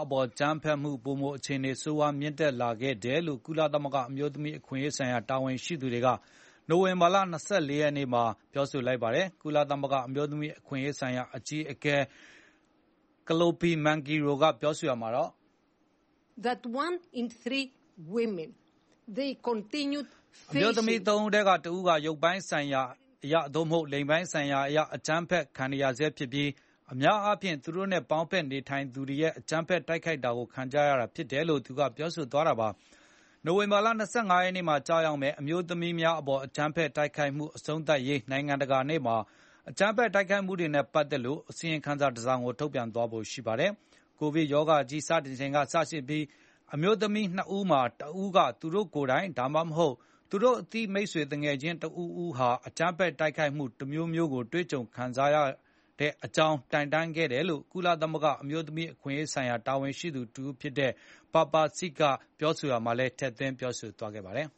အပေါ်အကြမ်းဖက်မှုပိုမိုအခြေအနေဆိုးရွား မြင့်တက်လာခဲ့ တယ်လို့ ကုလသမဂ္ဂအမျိုးသမီးအခွင့်အရေးဆိုင်ရာတာဝန်ရှိသူတွေက နိုဝင်ဘာလ ၂၄ ရက်နေ့မှာပြောဆိုလိုက်ပါတယ်။ ကုလသမဂ္ဂအမျိုးသမီးအခွင့်အရေးဆိုင်ရာ အကြီးအကဲ Kalliopi Mingeirou ကပြောဆိုရာမှာ “အမျိုးသမီး ၃ ဦးထဲက ၁ ဦးဟာ ရုပ်ပိုင်းဆိုင်ရာအရသို့မဟုတ်လိင်ပိုင်းဆိုင်ရာအရ အကြမ်း ဖက်ခံနေရဆဲဖြစ်ပြီး၊ အများအားဖြင့် သူတို့နဲ့ပေါင်းဖက်နေထိုင်သူတွေရဲ့အကြမ်းဖက် တိုက်ခိုက်တာကိုခံခဲ့ကြရတာဖြစ်ပါတယ်။” လို့ပြောဆိုသွားတာပါ။ နိုင်ဝင်ဘာလ ၂၅ ရက်နေ့မှာကျရောက်မယ့် အမျိုးသမီးများအပေါ်အကြမ်းဖက်တိုက်ခိုက်မှု အဆုံးသတ်ရေးနိုင်ငံကတာနေ့မှာ ဒီအကြမ်းဖက်တိုက်ခိုက်မှုတွေနဲ့ပတ်သက်လို့ အစီရင်ခံစာတစောင်ကိုထုတ်ပြန်သွားဖို့ရှိပါတယ်။ ကိုဗစ်ကပ်ရာဂါကြီးစတင်ချိန်ကစပြီး အမျိုးသမီးနှစ်ဦးမှာ တဦးကသူတို့ကိုယ်တိုင် ဒါမှမဟုတ် သူတို့အသိမိတ် ဆွေသူငယ်ချင်းတဦးဦးဟာ အကြမ်ဖက်တိုက်မှုတမျိုးမျိုးကိုတွေ့ ကြုံခံစားခဲ့ရ တယ်လို့ တိုင်တန်းခဲ့ကြောင်း ကုလသမဂ္ဂအမျိုးသမိးအခွင့်အရေးဆိုင်ရာတာဝန်ရှိသူတဦး ဖြစ်တဲ့ Papa Seck ကပြောဆို ရာမှာလည်းပြောဆိုခဲ့ပါတယ်